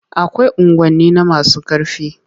Akwai unguwanni na masu ƙarfi.